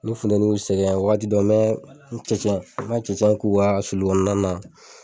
Ni funteni y'u sɛgɛn wagati dɔ n mɛ cɛncɛn ma cɛncɛn k'u ka sulu kɔnɔna na.